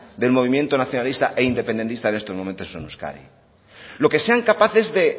del movimiento nacionalista e independentista en estos momentos en euskadi lo que sean capaces